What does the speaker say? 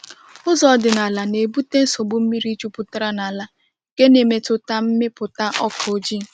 Ụzọ ọdịnala na-ebute nsogbu mmiri jupụtara n’ala, nke na-emetụta mmịpụta ọka ọjị.